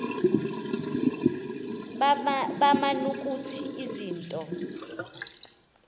baman ukuthi izinto